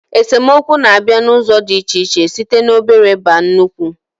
Esemokwu na-abịa n'ụzọ dị iche iche, site n'obere baa nnụkwu